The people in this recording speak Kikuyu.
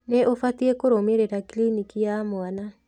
Nĩ ũbatiĩ kũrũmĩrĩra kliniki ya mwana.